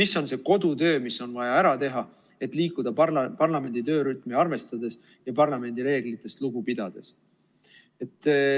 See on see kodutöö, mis on vaja ära teha, et liikuda parlamendi töörütmi arvestades ja parlamendi reeglitest lugu pidades.